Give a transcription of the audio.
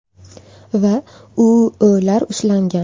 va U.O‘.lar ushlangan.